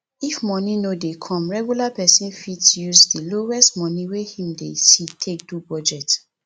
if money no dey come regular person fit use di lowest money wey im dey see take do budget